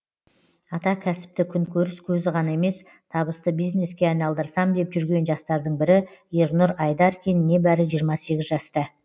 атакәсіпті күнкөріс көзі ғана емес табысты бизнеске айналдырсам деп жүрген жастардың бірі ернұр айдаркин небәрі жиырма сегіз жаста